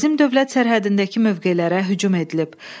Bizim dövlət sərhədindəki mövqelərə hücum edilib.